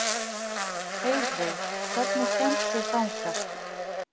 Andoxunarefni heilsunnar vegna.